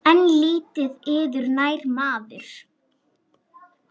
En lítið yður nær maður.